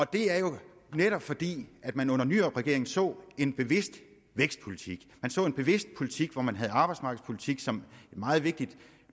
det er jo netop fordi man under nyrupregeringen så en bevidst vækstpolitik man så en bevidst politik hvor man havde arbejdsmarkedspolitikken som en meget vigtig